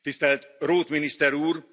Tisztelt Roth miniszter úr!